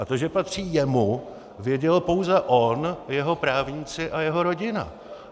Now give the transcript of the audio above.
A to, že patří jemu, věděl pouze on, jeho právníci a jeho rodina.